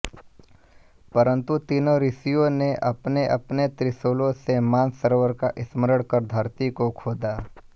परन्तु तीनों ॠथियों ने अपने अपने त्रिशूलों से मानसरोवर का स्मरण कर धरती को खोदा